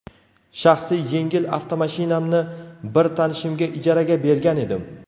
Shaxsiy yengil avtomashinamni bir tanishimga ijaraga bergan edim.